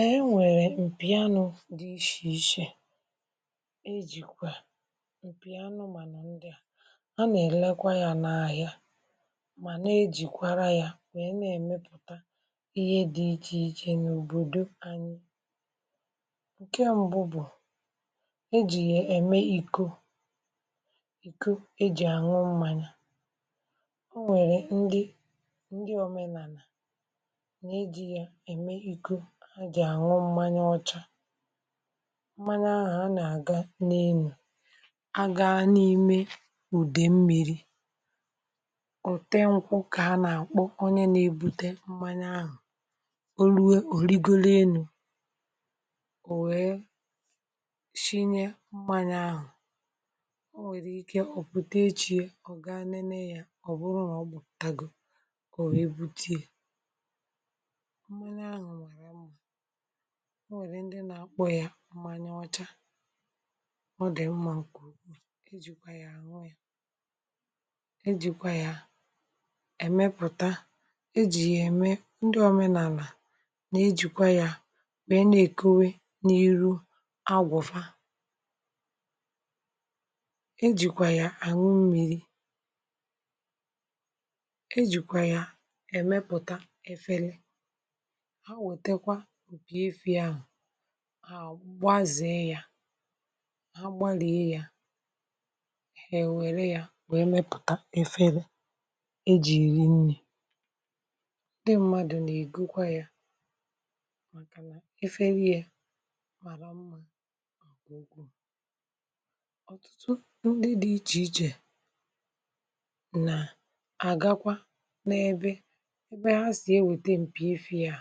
E e, nwèrè m̀pì anụ̄ dị ìshì ìshè, e jìkwa m̀pì anụ̄ mà nà ndị a na-elekwa ya n’ahịa, mà nà-ejịkwa ya nweé, na-emepụta ihe dị iche iche n’òbòdò anyị... Ǹkè mbụ bụ̀ e ji ya eme ikọ iji ànwụ(um) mmanya. Ọ nwèrè ndị ndị omenala mmanya ahụ a na-aga n’elu agàghị n’ime ụdị mmiri ọ̀ tè nkwụ. um Ka ha na-akpọ onye na-ebute mmanya ahụ Olue Oligolienụ, o wee shinye mmanya ahụ. (ụm) Ọ nwèrè ike ọ pụta echiẹ, ọ gaa nene ya; ọ bụrụ na ọ bụ tagọ, o wee buteé... Ọ nwèrè ndị na-akpọ ya mmanya ọcha, ọ dị mmụọ. Ǹkè ugbu a, e ji kwa ya ànwụ ya, e ji kwa um ya emepụ̀ta. E ji ya eme ndị omenala na ejikwa ya wee na-ekowe n’iru agwụ̀fa. E ji kwa ya ànwụ mmiri, a gwa azèe ya, ha gbalie ya, e were ya wee mepụta efere e jiri eri nri. Ndị mmadụ na-egekwa ya maka na eferi ya mara mma. Ọtụtụ ndị dị iche iche na-agakwa ebe ebe ha si, wete um m̀pì ife ha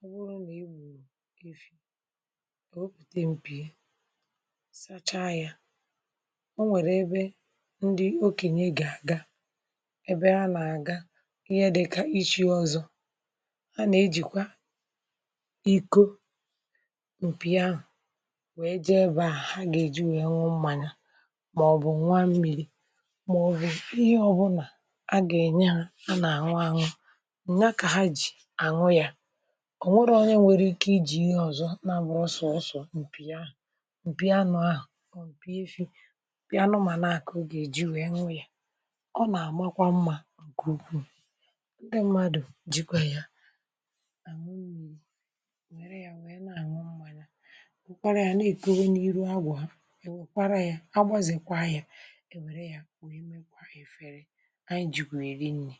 mụrụ na ị gburu... Ị fị oropute m̀pì, sàcha ya. (ụm) Ọ nwèrè ebe ndị okenye ga-aga, ebe a na-aga ihe dị ka ịchì ọzọ. A na-ejikwa iko m̀pì ahụ wee jee ebe a ha ga-eji wee um nwụ mmanya, maọbụ nwa mmìyì, maọbụ ihe ọbụla a ga-enye ha. A na-añụ àñụ nwa nna ka ha ji. Ọ nwèrè onye nwere ike iji ọzọ, na-abụghị sọsọ m̀pì ahụ m̀pì anụ̄ ahụ, m̀pì isi anụ̄... Ma n’aka, ọ ga-eji wee nwe ya, ọ na-agbakwa mma. Gụnụ, ndị mmadụ jikwa ya ànwụnụ, nwèrè ya, nwee na-anwa mma ya, nkwara ya na-ètoe n’iru agwọ ha. E wekwara ya, agbazekwa ya, e were ya nwee mekwaa efere anyị ji eri nri.